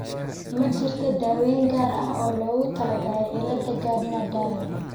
Ma jirto daaweyn gaar ah oo loogu talagalay cilada Gardner Diamond (GDS).